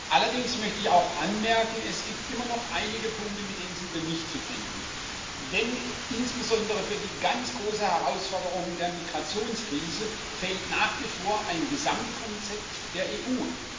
Allerdings möchte ich auch anmerken Es gibt immer noch einige Punkte, mit denen wir nicht zufrieden sind, denn insbesondere für die ganz große Herausforderung der Migrationskrise fehlt nach wie vor ein Gesamtkonzept der EU.